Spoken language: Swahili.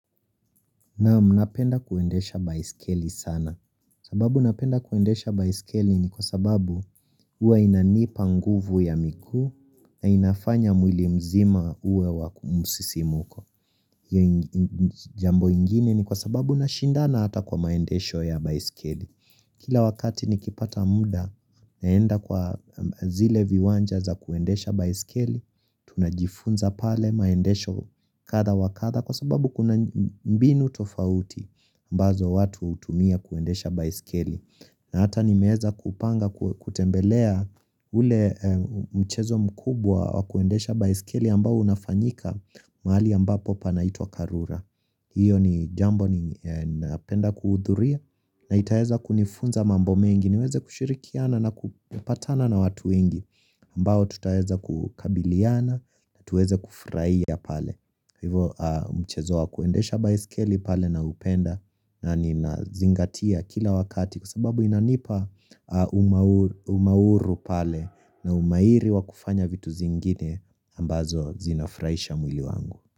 Naam, napenda kuendesha baiskeli sana. Sababu napenda kuendesha baiskeli ni kwa sababu uwa inanipa nguvu ya miguu na inafanya mwili mzima uwe wa mzizimuko. Iyo jambo ingine ni kwa sababu nashindana ata kwa maendesho ya baiskeli. Kila wakati nikipata muda naenda kwa zile viwanja za kuendesha baiskeli, tunajifunza pale maendesho katha wakatha kwa sababu kuna mbinu tofauti. Ambazo watu utumia kuendesha baisikeli na hata nimeeza kupanga kutembelea ule mchezo mkubwa wakuendesha baisikeli ambao unafanyika mahali ambapo panaitwa karura Iyo ni jambo ni napenda kuhudhuria na itaeza kunifunza mambo mengi niweze kushirikiana na kupatana na watu wengi ambao tutaeza kukabiliana na tuweze kufurahia pale hivo mchezo wa kuendesha baiskeli pale na upenda na nina zingatia kila wakati kwa sababu inanipa umauru pale na umairi wa kufanya vitu zingine ambazo zinafraisha mwili wangu.